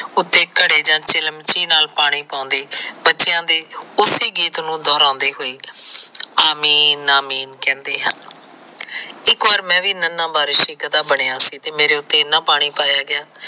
ਉਤੇ ਘੜੇ ਜਾ ਚਿਲਮਚੀ ਨਾਲ ਪਾਣੀ ਪਾਉਂਦੇ ਬੱਚਿਆ ਦੇ ਉਸੀ ਗੀਤ ਨੂੰ ਦਹੁਰਾਦੇ ਹੋਏ ਆਮੀ ਨਾਮੀ ਕਹਿੰਦੇ ਹਨ। ਇੱਕ ਵਾਰ ਮੈ ਵੀ ਨਨਾ ਵਾਰਿਸ਼ ਦਾ ਗਧਾ ਬਣਿਆ ਸੀ ਤੇ ਮੇਰੇ ਉਤੇ ਇੰਨਾ ਪਾਣੀ ਪਾਇਆ ਗਿਆ